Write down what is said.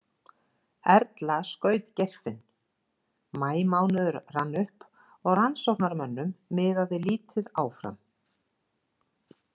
Erla skaut Geirfinn Maímánuður rann upp og rannsóknarmönnum miðaði lítið áfram.